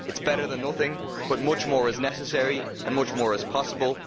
It is better than nothing, but much more is necessary and much more is possible.